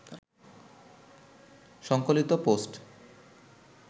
সংকলিত পোস্ট